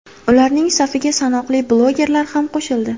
Ularning safiga sanoqli blogerlar ham qo‘shildi.